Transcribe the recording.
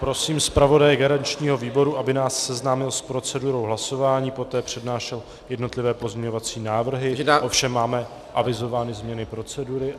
Prosím zpravodaje garančního výboru, aby nás seznámil s procedurou hlasování, poté přednášel jednotlivé pozměňovací návrhy, ovšem máme avizovány změny procedury.